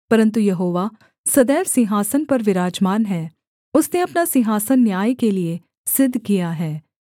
परन्तु यहोवा सदैव सिंहासन पर विराजमान है उसने अपना सिंहासन न्याय के लिये सिद्ध किया है